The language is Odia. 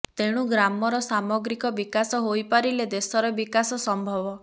ତେଣୁ ଗ୍ରାମର ସାମଗ୍ରିକ ବିକାଶ ହୋଇପାରିଲେ ଦେଶର ବିକାଶ ସମ୍ଭବ